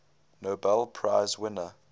nobel prize winner